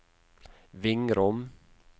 Vingrom